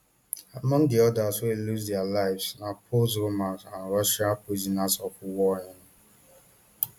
among di odas wey lose dia lives na poles roman and russian prisoners of war um